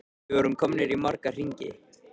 Við vorum komnir í marga hringi.